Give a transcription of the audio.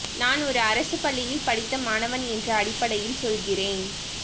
நான் ஒரு அரசு பள்ளியில் படித்த மாணவன் என்ற அடிப்படையில் சொல்கிறேன்